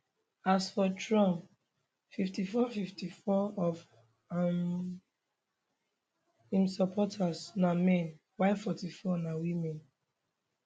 as for trump 54 54 of um im supporters na men while 44 na women